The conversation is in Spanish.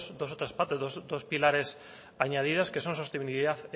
dos otras partes dos pilares añadidos que son sostenibilidad